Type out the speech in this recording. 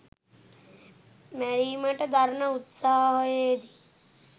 මැරීමට දරන උත්සාහයේදී